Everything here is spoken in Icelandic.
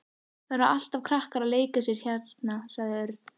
Það eru alltaf krakkar að leika sér hérna sagði Örn.